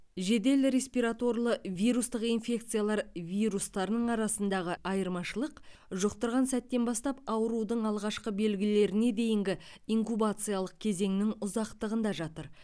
жедел респираторлы вирустық инфекциялар вирустарының арасындағы айырмашылық жұқтырған сәттен бастап аурудың алғашқы белгілеріне дейінгі инкубациялық кезеңнің ұзақтығында жатыр